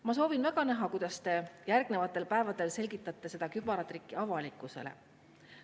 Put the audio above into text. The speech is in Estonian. Ma soovin väga näha, kuidas te järgnevatel päevadel selgitate seda kübaratrikki avalikkusele.